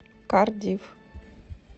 кардифф